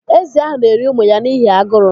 Ézì ahụ na-eri ụmụ ya n'ihi aguru.